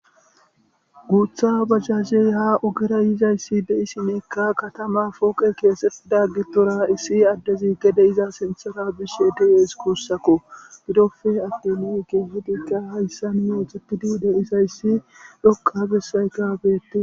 guutha bajajey ha ogera yizayssi de'ishinka katama pooqe keesetti da gitora issi addezi gede iza sinthora bish e duyes kuussakko gidofe addiliege hadikka hayssa nimeexetidiide isayssi dhokka bessayka beettes